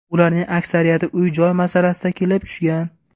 Ularning aksariyati uy-joy masalasida kelib tushgan.